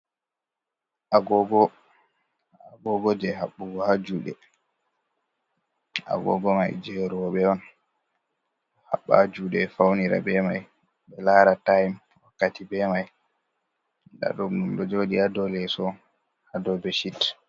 Agogo je habbugo ha juɗe. Agogo mai je robe on. Habba h juɗe faunira be mai, be lara taim wakkati be mai. Nɗa ɗum ɗo joɗi ya ɗow leso, ha ɗow beshit.